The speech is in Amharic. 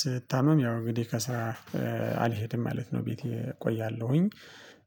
ስታመም ያው እንግዲህ ከስራ አልሄድም ማለት ነው ቤቴ እቆያለሁኝ።